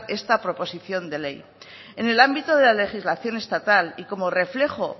esta proposición de ley en el ámbito de la legislación estatal y como reflejo o